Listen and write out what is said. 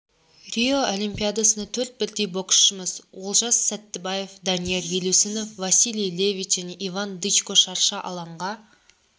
рио олимпиадасында төрт бірдей боксшымыз олжас сәттібаев данияр елеусінов василий левит және иван дычко шарша алаңға